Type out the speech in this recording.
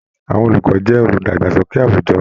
Àwọn olùkọ jẹ oludagbasoke àwùjọ.